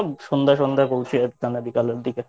সন্ধ্যে সন্ধ্যে পৌঁছে যাবি তা না বিকেলের দিকে।